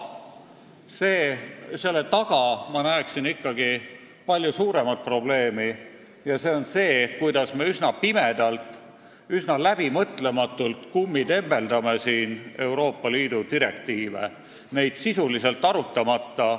Selle taga ma näen siiski palju suuremat probleemi – see on see, kuidas me üsna pimedalt, üsna läbimõtlematult kummitembeldame siin Euroopa Liidu direktiive, neid sisuliselt arutamata.